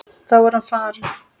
Þá er hann farinn.